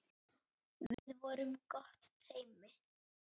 Við vorum gott teymi.